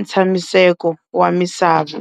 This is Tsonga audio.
ntshamiseko wa misava.